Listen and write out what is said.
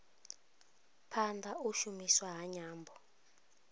phanda u shumiswa ha nyambo